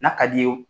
N'a ka d'i ye